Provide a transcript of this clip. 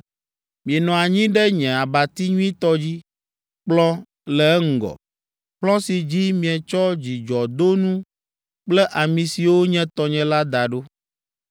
Mienɔ anyi ɖe nye abati nyuitɔ dzi, kplɔ̃ le eŋgɔ, kplɔ̃ si dzi míetsɔ dzudzɔdonu kple ami siwo nye tɔnye la da ɖo.